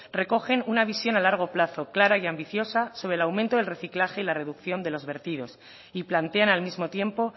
recogen una visión a largo plazo clara y ambiciosa sobre el aumento del reciclaje y la reducción de los vertidos y plantean al mismo tiempo